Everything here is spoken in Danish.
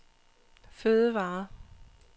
fødevarer